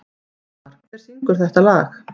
Sigmar, hver syngur þetta lag?